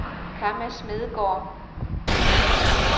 Kamma Smedegaard